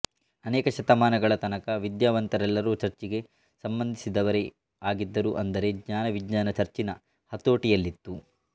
ಅನೇಕ ಶತಮಾನಗಳ ತನಕ ವಿದ್ಯಾವಂತರೆಲ್ಲರೂ ಚರ್ಚಿಗೆ ಸಂಬಂಧಿಸಿದವರೇ ಆಗಿದ್ದರು ಅಂದರೆ ಜ್ಞಾನ ವಿಜ್ಞಾನ ಚರ್ಚಿನ ಹತೋಟಿಯಲ್ಲಿತ್ತು